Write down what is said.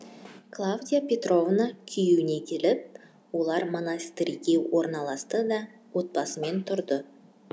клавдия петровна күйеуіне келіп олар монастырскіге орналасты да отбасымен тұрды